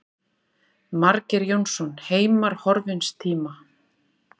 Margeir Jónsson, Heimar horfins tíma.